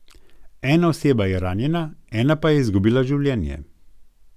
Ena oseba je ranjena, ena pa je izgubila življenje.